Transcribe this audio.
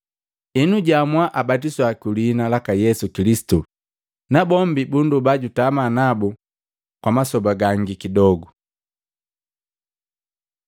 Henu, jaamua abatiswa kwiliina laka Yesu Kilisitu. Nabombi bunndoba jutama nabu kwamasoba gangi kidogu.